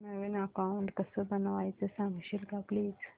नवीन account कसं बनवायचं सांगशील का प्लीज